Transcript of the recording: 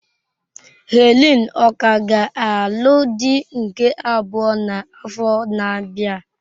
Helen ọ̀ ka ga-alụ di nke abụọ n'afọ na-abịa?